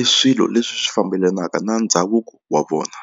i swilo leswi fambelanaka na ndhavuko wa vona.